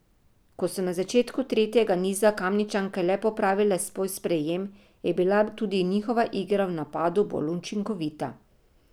Ko so na začetku tretjega niza Kamničanke le popravile svoj sprejem, je bila tudi njihova igra v napadu bolj učinkovita.